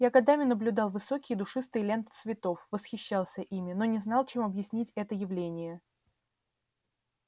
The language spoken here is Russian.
я годами наблюдал высокие и душистые ленты цветов восхищался ими но не знал чем объяснить это явление